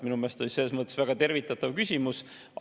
Minu meelest on see selles mõttes väga tervitatav küsimus.